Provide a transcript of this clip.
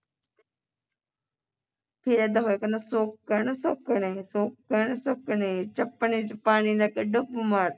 ਫੇਰ ਕਿੱਦਾਂ ਹੋਇਆ ਕਰਨਾ ਸ਼ੌਂਕਣ ਸੈਂਕਨੇ ਸ਼ੌਂਕਣ ਸੈਂਕਨੇ ਸ਼ੌਂਕਣ ਸੈਂਕਨੇ ਚੱਪਣੀ ਚ ਪਾਣੀ ਲੈ ਕੇ ਡੁੱਬ ਮਰ